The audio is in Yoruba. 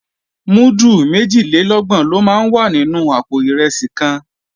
Múdù méjìlélọ́gbọ̀n ló máa wà nínú àpò ìrẹsì kan